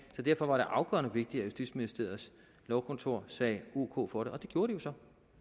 så derfor var det afgørende vigtigt at justitsministeriets lovkontor sagde ok for det det gjorde de så